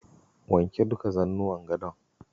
Wanke duka zannuwan gadon.